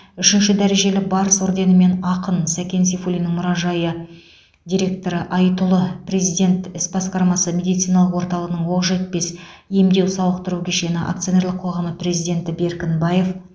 үшінші дәрежелі барыс орденімен ақын сәкен сейфуллиннің мұражайы директоры айтұлы президент іс басқармасы медициналық орталығының оқжетпес емдеу сауықтыру кешені акционерлік қоғамы президенті беркінбаев